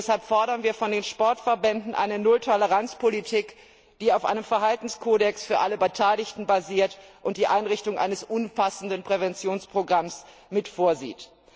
Deshalb fordern wir von den Sportverbänden eine Null Toleranz Politik, die auf einem Verhaltenskodex für alle Beteiligten basiert und auch die Einrichtung eines umfassenden Präventionsprogramms vorsieht.